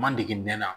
Ma dege n na